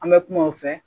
An bɛ kuma o fɛ